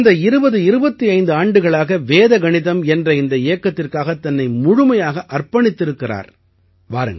இவர் கடந்த 2025 ஆண்டுகளாக வேத கணிதம் என்ற இந்த இயக்கத்திற்காகத் தன்னை முழுமையாக அர்ப்பணித்திருக்கிறார்